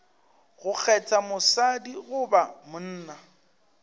go kgetha mosadi goba monna